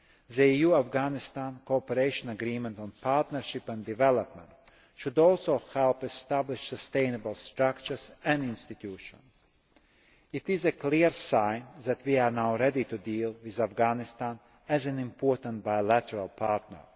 The EU Afghanistan Cooperation Agreement on Partnership and Development should also help to establish sustainable structures and institutions. It is a clear sign that we are now ready to deal with Afghanistan as an important bilateral partner.